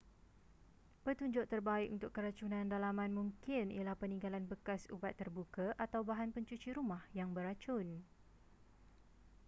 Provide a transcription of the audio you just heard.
petunjuk terbaik untuk keracunan dalaman mungkin ialah peninggalan bekas ubat terbuka atau bahan pencuci rumah yang beracun